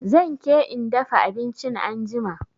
Zan ke in dafa abinchin anjima